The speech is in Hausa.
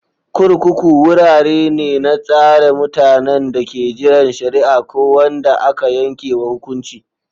Kurkuku wurare ne na tsare mutanen da ke jiran shari'a ko wanda aka yanke wa hukunci.